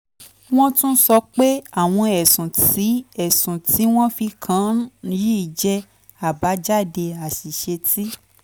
wọ́n tún sọ pé àwọn ẹ̀sùn tí ẹ̀sùn tí wọ́n fi kàn án yìí jẹ́ àbájáde àṣìṣe tí